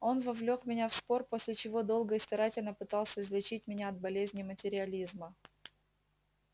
он вовлёк меня в спор после чего долго и старательно пытался излечить меня от болезни материализма